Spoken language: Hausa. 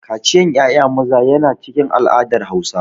Kaciyan ƴaƴa maza yana cikin al'adar Hausa.